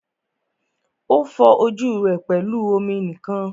O fọ ojú rẹ pẹlú omi nìkan.